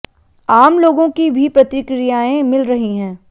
आम लोगों की भी प्रतिक्रियाएं मिल रही हैं